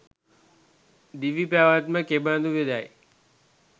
දිවිපැවැත්ම කෙබඳුවේදැයි